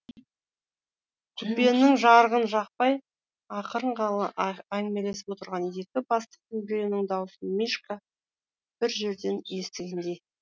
купенің жарығын жақпай ақырын ғана әңгімелесіп отырған екі бастықтың біреуінің даусын мишка бір жерден естігендей